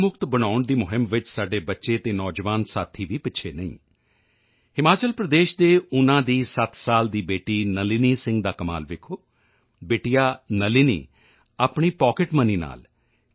ਮੁਕਤ ਬਣਾਉਣ ਦੀ ਮੁਹਿੰਮ ਵਿੱਚ ਸਾਡੇ ਬੱਚੇ ਤੇ ਨੌਜਵਾਨ ਸਾਥੀ ਵੀ ਪਿੱਛੇ ਨਹੀਂ ਹਨ ਹਿਮਾਚਲ ਪ੍ਰਦੇਸ਼ ਦੇ ਊਨਾ ਦੀ 7 ਸਾਲ ਦੀ ਬੇਟੀ ਨਲਿਨੀ ਸਿੰਘ ਦਾ ਕਮਾਲ ਵੇਖੋ ਬਿਟੀਆ ਨਲਿਨੀ ਆਪਣੀ ਪੌਕਿਟ ਮਨੀ ਨਾਲ ਟੀ